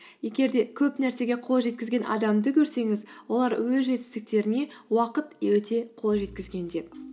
егер де көп нәрсеге қол жеткізген адамды көрсеңіз олар өз жетістіктеріне уақыт өте қол жеткізген деп